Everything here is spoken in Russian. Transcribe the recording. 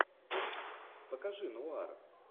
покажи нуар